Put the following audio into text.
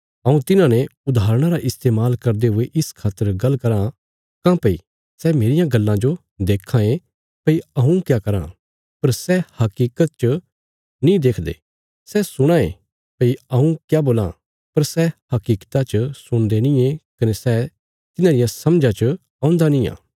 हऊँ तिन्हांने उदाहरणां रा इस्तेमाल करदे हुये इस खातर गल्ल कराँ काँह्भई सै मेरियां गल्लां जो देक्खां ये भई हऊँ क्या कराँ पर सै हकीकत च नीं देखदे सै सुणां ये भई हऊँ क्या बोलां पर सै हकीकता च सुणदे नींये कने सै तिन्हां रिया समझा च औन्दा नींआ